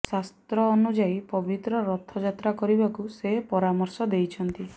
ଶାସ୍ତ୍ର ଅନୁଯାୟୀ ପବିତ୍ର ରଥଯାତ୍ରା କରିବାକୁ ସେ ପରାମର୍ଶ ଦେଇଛନ୍ତି